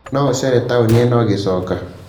no ũceerere taũni ĩno ũgĩcoka